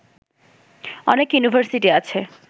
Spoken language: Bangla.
অনেক ইউনিভার্সিটি আছে